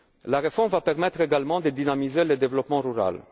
La réforme permettra également de dynamiser le développement